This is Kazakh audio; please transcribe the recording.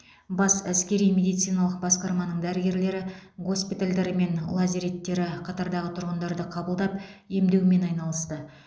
бас әскери медициналық басқарманың дәрігерлері госпитальдері мен лазареттері қатардағы тұрғындарды қабылдап емдеумен айналысты